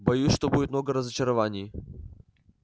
боюсь что будет много разочарований